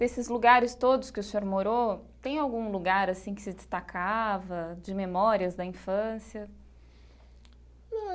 Desses lugares todos que o senhor morou, tem algum lugar assim que se destacava, de memórias da infância?